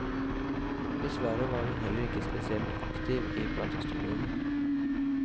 Dessverre var hun heller ikke spesielt aktiv i platestudioene.